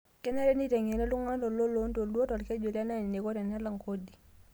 Kenare neiteng'eni ltung'ana loontoluo lo lkeju le Nile eneiko tenelak kodi